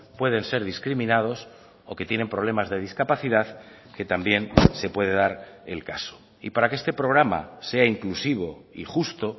pueden ser discriminados o que tienen problemas de discapacidad que también se puede dar el caso y para que este programa sea inclusivo y justo